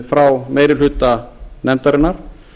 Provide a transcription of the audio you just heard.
frá meiri hluta nefndarinnar